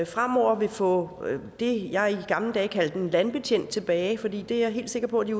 fremover vil få det jeg i gamle dage kaldte en landbetjent tilbage for det er jeg helt sikker på at